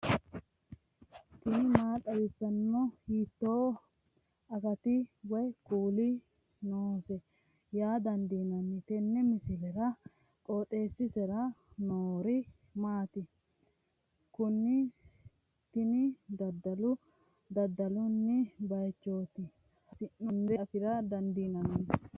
tini maa xawissanno ? hiitto akati woy kuuli noose yaa dandiinanni tenne misilera? qooxeessisera noori maati? kuni tini dadalo dadallanni baychooti hasi'noonnire afra dandiinanni